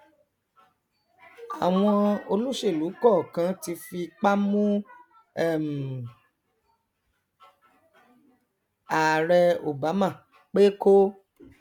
àwọn olóṣèlú kọọkan ti fipá mú um ààrẹ obama pé kó